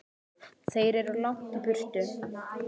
Þeir eru langt í burtu.